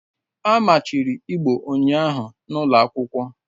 A machiri Igbo ụnyahụ na ụlọ akwụkwọ